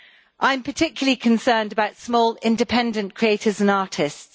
I am particularly concerned about small independent creators and artists.